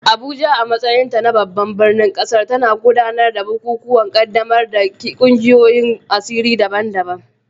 Abuja, a matsayinta na babban birnin ƙasar, tana gudanar da bukukuwan ƙaddamar da ƙungiyoyin asiri daban-daban